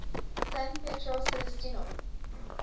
san pietro celestino